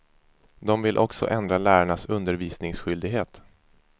De vill också ändra lärarnas undervisningsskyldighet.